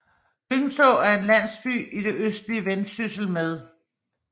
Lyngså er en landsby i det østlige Vendsyssel med